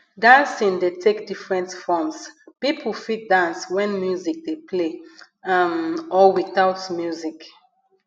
dancing dey take different forms pipo fit dance when music dey play um or without music